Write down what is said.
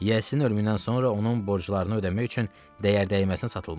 Yiyəsinin ölümündən sonra onun borclarını ödəmək üçün dəyər-dəyməzinə satılmışdı.